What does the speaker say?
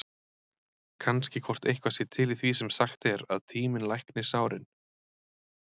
Kannski hvort eitthvað sé til í því sem sagt er, að tíminn lækni sárin?